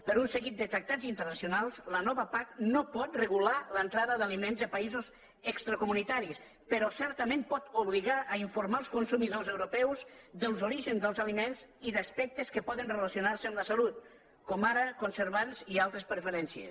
per un seguit de tractats internacionals la nova pac no pot regular l’entrada d’aliments de països extracomunitaris però certament pot obligar a informar els consumidors europeus dels orígens dels aliments i d’aspectes que poden relacionar se amb la salut com ara conservants i altres preferències